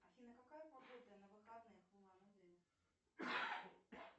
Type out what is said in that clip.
афина какая погода на выходных в улан удэ